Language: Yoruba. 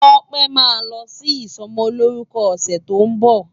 Tope má lò si isòmòlórùkò òsè tó n bo